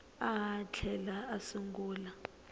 a a tlhela a sungula